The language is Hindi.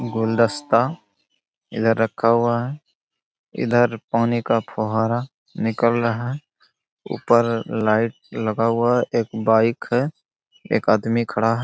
गुलदस्ता इधर रखा हुआ है। इधर पानी का फुहारा निकल रहा है। ऊपर लाइट लगा हुआ है। एक बाइक है। एक आदमी खड़ा है।